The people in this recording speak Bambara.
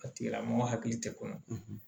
A tigila mɔgɔ hakili tɛ kɔnɔ